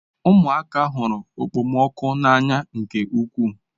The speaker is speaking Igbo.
Ụmụaka hụrụ okpomọkụ n'anya nke ukwuu.